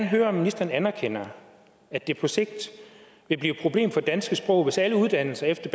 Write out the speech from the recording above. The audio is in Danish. høre om ministeren anerkender at det på sigt vil blive et problem for det danske sprog hvis alle uddannelser efter